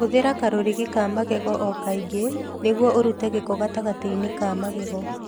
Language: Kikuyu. Hũthĩra karũrigi ka magego o kaingĩ nĩguo ũrute gĩko gatagatĩ-inĩ ka magego.